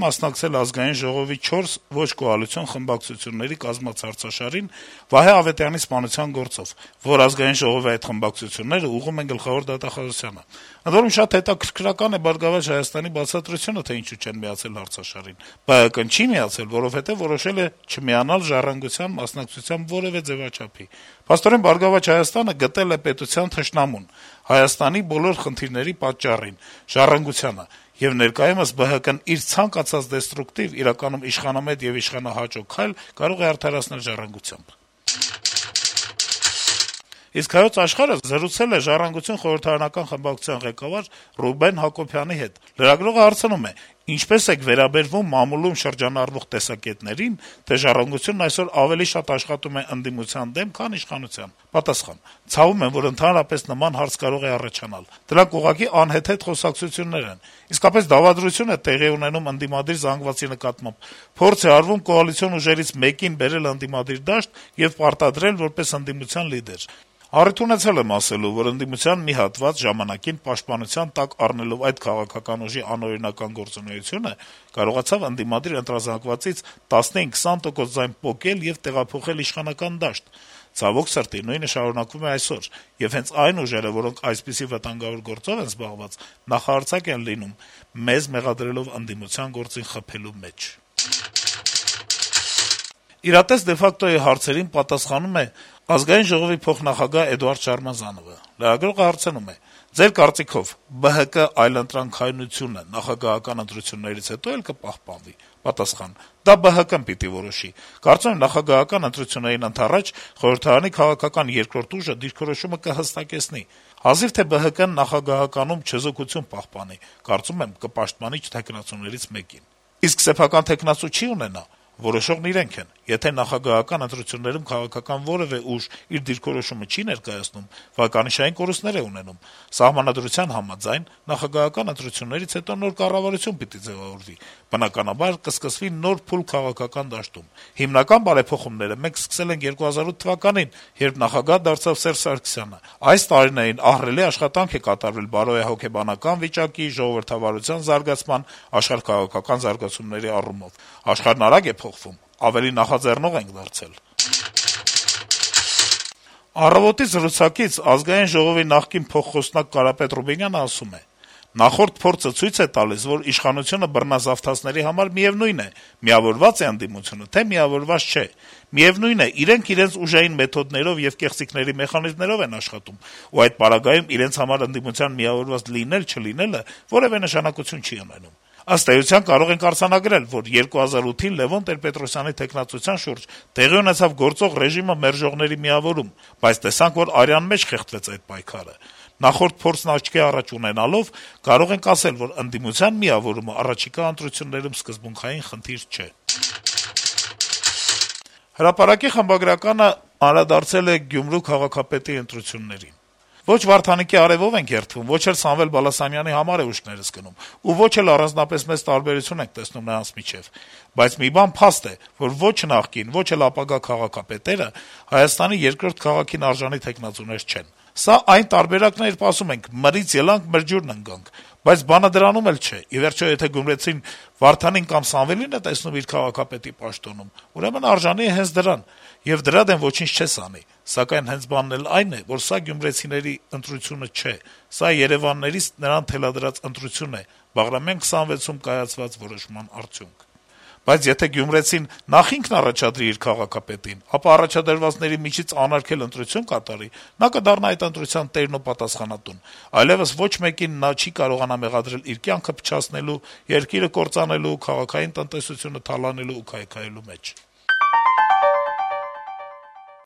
մասնակցել Ազգային ժողովի չորս ոչ կոալիցիոն խմբակցությունների կազմած հարցաշարին՝ Վահե Ավետյանի սպանության գործով, որ ԱԺ այդ խմբակցություններն ուղղում են գլխավոր դատախազությանը: Ընդ որում` շատ հետաքրքրական է «Բարգավաճ Հայաստանի» բացատրությունը, թե ինչու չեն միացել հարցաշարին: ԲՀԿ-ն չի միացել, որովհետեւ որոշել է չմիանալ «Ժառանգության» մասնակցությամբ որեւէ ձեւաչափի: Փաստորեն «Բարգավաճ Հայաստանը» գտել է պետության թշնամուն, Հայաստանի բոլոր խնդիրների պատճառին՝ «Ժառանգությանը», եւ ներկայումս ԲՀԿ-ն իր ցանկացած դեստրուկտիվ, իրականում իշխանամետ եւ իշխանահաճո քայլ կարող է արդարացնել «Ժառանգությամբ»»: «Հայոց Աշխարհ»-ը զրուցել է «Ժառանգության» խորհրդարանական խմբակցության ղեկավար Ռուբեն Հակոբյանի հետ: Լրագրողը հարցնում է. - «Ինչպե՞ս եք վերաբերվում մամուլում շրջանառվող տեսակետներին, թե «Ժառանգությունն» այսօր ավելի շատ աշխատում է ընդդիմության դեմ, քան իշխանության»։ Պատասխան. - «Ցավում եմ, որ ընդհանրապես նման հարց կարող է առաջանալ։ Դրանք ուղղակի անհեթեթ խոսակցություններ են։ Իսկապես, դավադրություն է տեղի ունենում ընդդիմադիր զանգվածի նկատմամբ՝ փորձ է արվում կոալիցիոն ուժերից մեկին բերել ընդդիմադիր դաշտ եւ պարտադրել որպես ընդդիմության լիդեր։ Առիթ ունեցել եմ ասելու, որ ընդդիմության մի հատված ժամանակին, պաշտպանության տակ առնելով այդ քաղաքական ուժի անօրինական գործունեությունը, կարողացավ ընդդիմադիր ընտրազանգվածից 15-20 տոկոս ձայն պոկել եւ տեղափոխել իշխանական դաշտ։ Ցավոք սրտի, նույնը շարունակվում է այսօր, եւ հենց այն ուժերը, որոնք այսպիսի վտանգավոր գործով են զբաղված, նախահարձակ են լինում՝ մեզ մեղադրելով ընդդիմության «գործին խփելու» մեջ»։ «Իրատես de facto»-ի հարցերին պատասխանում է ԱԺ փոխնախագահ Էդուարդ Շարմազանովը: Լրագրողը հարցնում է. - «Ձեր կարծիքով` ԲՀԿ-ի այլընտրանքայնությունը նախագահական ընտրություններից հետո՞ էլ կպահպանվի»: Պատասխան. - «Դա ԲՀԿ-ն պիտի որոշի: Կարծում եմ` նախագահական ընտրություններին ընդառաջ խորհրդարանի քաղաքական երկրորդ ուժը դիրքորոշումը կհստակեցնի: Հազիվ թե ԲՀԿ-ն նախագահականում չեզոքություն պահպանի, կարծում եմ` կպաշտպանի թեկնածուներից մեկին»: Հարց. - «Իսկ սեփական թեկնածու չե՞ն ունենա»: Պատասխան. -« Որոշողն իրենք են: Եթե նախագահական ընտրություններում քաղաքական որեւէ ուժ իր դիրքորոշումը չի ներկայացնում, վարկանիշային կորուստներ է ունենում: Սահմանադրության համաձայն` նախագահական ընտրություններից հետո նոր կառավարություն պիտի ձեւավորվի, բնականաբար, կսկսվի նոր փուլ քաղաքական դաշտում: Հիմնական բարեփոխումները մենք սկսել ենք 2008 թվականին, երբ նախագահ դարձավ Սերժ Սարգսյանը: Այս տարիներին ահռելի աշխատանք է կատարվել` բարոյահոգեբանական վիճակի, ժողովրդավարության զարգացման, աշխարհաքաղաքական զարգացումների առումով: Աշխարհն արագ է փոխվում, ավելի նախաձեռնող ենք դարձել»: «Առավոտ»-ի հարցազրույցում ԱԺ նախկին փոխխոսնակ Կարապետ Ռուբինյանը ասում .է - «Նախորդ փորձը ցույց է տալիս, որ իշխանությունը բռնազավթածների համար միեւնույն է՝ միավորվա՞ծ է ընդդիմությունը, թե՞ միավորված չէ: Միեւնույն է՝ իրենք իրենց ուժային մեթոդներով եւ կեղծիքների մեխանիզմներով են աշխատում, ու այդ պարագայում իրենց համար ընդդիմության միավորված լինել-չլինելը որեւէ նշանակություն չի ունենում: Ըստ էության, կարող ենք արձանագրել, որ 2008-ին Լեւոն Տեր-Պետրոսյանի թեկնածության շուրջ տեղի ունեցավ գործող ռեժիմը մերժողների միավորում, բայց տեսանք, որ արյան մեջ խեղդվեց այդ պայքարը: Նախորդ փորձն աչքի առաջ ունենալով՝ կարող ենք ասել, որ ընդդիմության միավորումը առաջիկա ընտրություններում սկզբունքային խնդիր չէ»: «Հրապարակ»-ի խմբագիրը գրում է. - «Ո'չ Վարդանիկի «արեւով» էինք երդվում, ո'չ էլ Սամվել Բալասանյանի համար է «ուշքներս» գնում ու ո'չ էլ առանձնապես մեծ տարբերություն ենք տեսնում նրանց միջեւ։ Բայց մի բան փաստ է, որ ո'չ նախկին, ո'չ էլ ապագա քաղաքապետերը Հայաստանի երկրորդ քաղաքին արժանի թեկնածուներ չեն։ Սա այն տարբերակն է, երբ ասում են` մրից ելանք, մրջուրն ընկանք։ Բայց բանը դրանում էլ չէ` ի վերջո, եթե գյումրեցին Վարդանին կամ Սամվելին է տեսնում իր քաղաքապետի պաշտոնում, ուրեմն արժանի է հենց դրան, եւ ոչինչ դրա դեմ չես անի։ Սակայն բանն էլ հենց այն է, որ սա գյումրեցու ընտրությունը չէ։ Սա երեւաններից նրան թելադրված ընտրություն է։ Բաղրամյան 26-ում կայացված որոշման արդյունք։ Բայց եթե գյումրեցին նախ ինքն առաջադրի իր քաղաքապետին, ապա առաջադրվածների միջից անարգել ընտրություն կատարի, նա կդառնա այս ընտրության տերն ու պատասխանատուն։ Այլեւս ոչ մեկին նա չի կարողանա մեղադրել իր կյանքը փչացնելու, երկիրը կործանելու, քաղաքային տնտեսությունը թալանելու ու քայքայելու մեջ»։